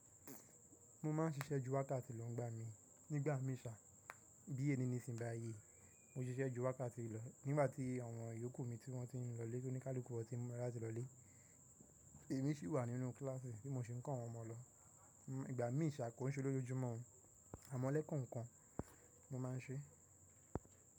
Mo máa ń ṣiṣẹ́ júwákàtì lọ́ n gbà mí. Nígbà mìí ṣà, bí è nìníṣìń báyii, mo ń ṣiṣẹ́ júwákàtì lọ. Nígbà tí àwọn iyúnkù mi tí wọ́n ti ní lọ lé, tó ní kálùkù wọ́n ti mọ̀ rá lati lọ lé, èmi sì wà nínú kíláàsì bí mo ṣe ń kọ́ àwọn ọmọ lọ. Nígbà mìí ṣà, kò ń ṣe lójoojúmọ́, àmọ́ lẹ́ẹ̀kan-kan mo máa ń ṣe.